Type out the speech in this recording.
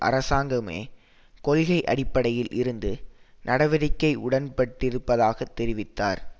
அரசாங்கங்கமே கொள்கை அடிப்படையில் இந்த நடவடிக்கை உடன்பட்டிருப்பதாக தெரிவித்தார்